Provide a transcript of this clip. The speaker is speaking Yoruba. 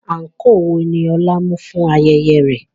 Àǹkóò wo ni Ọlá mú fún ayẹyẹ rẹ̀?